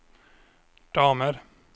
damer